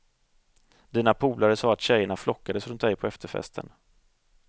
Dina polare sade att tjejerna flockades runt dig på efterfesten.